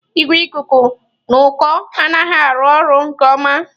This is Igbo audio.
Igwe ikuku n'uko anaghị arụ ọrụ nke ọma.